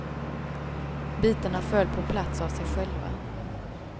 Bitarna föll på plats av sig själva.